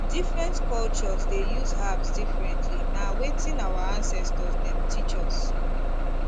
different cultures dey use herbs differently na wetin our ancestors dem teach us